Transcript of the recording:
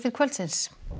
kvöld